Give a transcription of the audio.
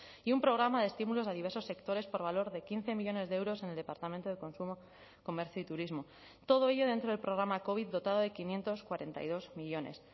y un programa de estímulos a diversos sectores por valor de quince millónes de euros en el departamento de consumo comercio y turismo todo ello dentro del programa covid dotado de quinientos cuarenta y dos millónes